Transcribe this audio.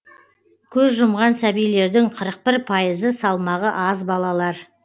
көз жұмған сәбилердің қырық бір пайызы салмағы аз балалар